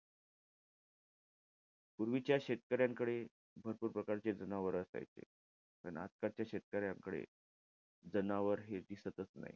पूर्वीच्या शेतकर्यांकडे भरपूर प्रकारचे जनावरं असायचे. आणि आजकालच्या शेतकऱ्यांकडे जनावर हे दिसतचं नाही.